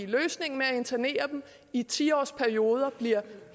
løsningen med at internere dem i ti årsperioder bliver